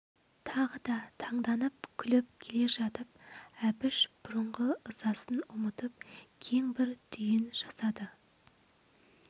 тағы да танданып күліп келе жатып әбіш бұрынғы ызасын ұмытып кең бір түйін жасады